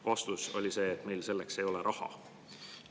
Vastus oli, et meil selleks ei ole raha.